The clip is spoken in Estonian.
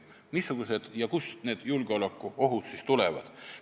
Missugused need julgeolekuohud on ja kust nad tulevad?